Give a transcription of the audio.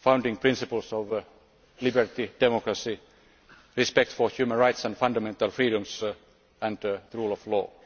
founding principles of liberty, democracy, respect for human rights and fundamental freedoms and the rule of law.